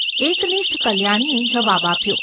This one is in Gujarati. ’ એકનિષ્ઠ કલ્યાણીએ જવાબ આપ્યો.